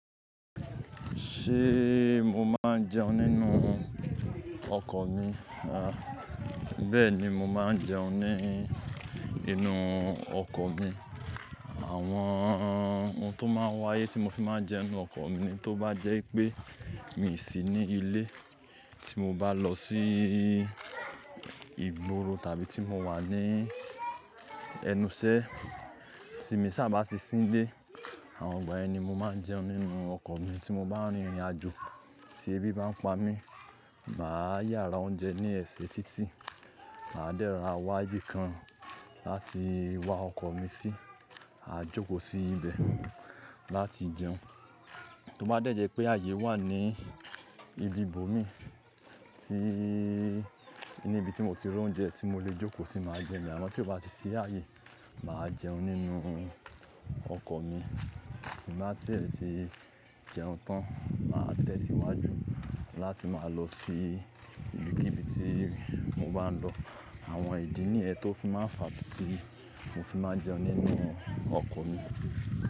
Ṣé mo máa ń jẹun nínú ọkọ̀ mi? A, bẹ́ẹ̀ni, mo máa ń jẹun ní inú ọkọ̀ mi. Àwọn oun tó máa ń wáyé tí mo fi máa ń jẹun nínú ọkọ̀ mi tó bá jẹ́ pé mi ò sí ní ilé tí mo bá lọ sí ìgboro tàbí tí mo wà ní ẹnuṣẹ́ tí èmi sá bá sì sílé. Àwọn ọgbà yẹn ni mo máa ń jẹun nínú ọkọ̀ mi tí mo bá rìn ìrìnàjò tí ebi bá ń pa mí. Máa yára oúnjẹ ní ẹsẹ̀ títí, màá dẹ́ra wá ibìkan láti wá ọkọ̀ mi sí. A jókòó sí ibẹ̀ láti jẹun. Tí ó bá dẹ́ jẹ́ pé ààyè wà ní ibi ibo mi tí-- níbi tí mo ti rán oúnjẹ tí mo lè jókòó sí máa jẹun, àmọ́ tí kò bá sí ààyè, màá jẹun nínú ọkọ̀ mi. Tí màá ti rẹ̀ ti jẹun tán, màá tẹ̀ síwájú láti máa lọ sí ibi tíbi tí mo bá ń lọ. Àwọn ìdí nìyẹn tó fi máa ń fa bí tí mo fi máa ń jẹun nínú ọkọ̀ mi.